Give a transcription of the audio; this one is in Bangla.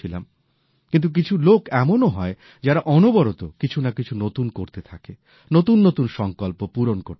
কিন্তু কিছু লোক এমনও হয় যারা অনবরত কিছুনাকিছু নতুন করতে থাকে নতুন নতুন সংকল্প পূরণ করতে থাকে